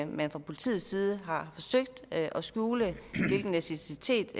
man fra politiets side har forsøgt at skjule hvilken etnicitet